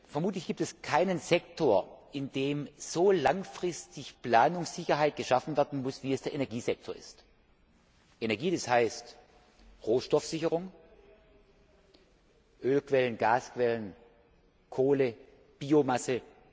Vermutlich gibt es keinen Sektor, in dem so langfristig Planungssicherheit geschaffen werden muss wie im Energiesektor. Energie, das heißt Rohstoffsicherung Ölquellen, Gasquellen, Kohle, Biomasse.